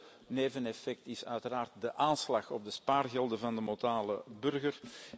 Het derde neveneffect is uiteraard de aanslag op de spaargelden van de modale burger.